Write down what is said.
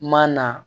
Ma na